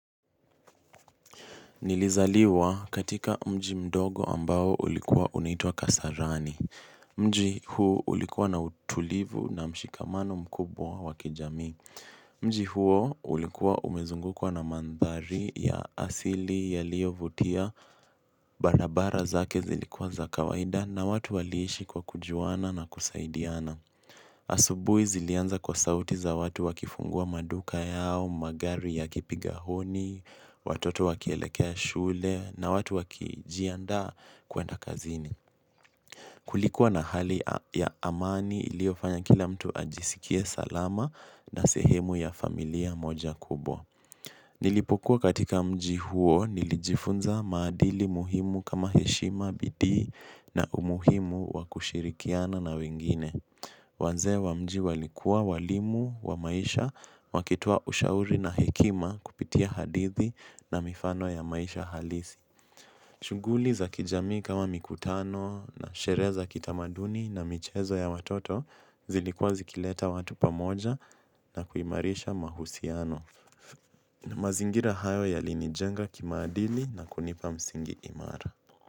Nilizaliwa katika mji mdogo ambao ulikuwa unaitwa kasarani. Mji huo ulikuwa na utulivu na mshikamano mkubwa wa kijami. Mji huo ulikuwa umezungukwa na mandhari ya asili yaliyovutia barabara zake zilikuwa za kawaida na watu waliishi kwa kujuana na kusaidiana. Asubuhi zilianza kwa sauti za watu wakifungua maduka yao magari yakipiga honi watoto wakielekea shule na watu wakijiandaa kwenda kazini kulikuwa na hali ya amani iliyofanya kila mtu ajisikie salama na sehemu ya familia moja kubwa nilipokuwa katika mji huo nilijifunza maadili muhimu kama heshima bidi na umuhimu wakushirikiana na wengine. Wazee wa mji walikua walimu wa maisha wakitoa ushauri na hekima kupitia hadithi na mifano ya maisha halisi. Shughuli za kijamii kama mikutano na sherehe za kitamaduni na michezo ya watoto zilikuwa zikileta watu pamoja na kuimarisha mahusiano. Mazingira hayo yalinijenga kimaadili na kunipa msingi imara.